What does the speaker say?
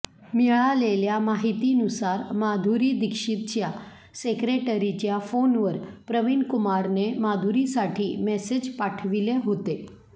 मिळालेल्या माहितीनुसार माधुरी दीक्षितच्या सेक्रेटरीच्या फोनवर प्रवीणकुमारने माधुरीसाठी मेसेज पाठविले होते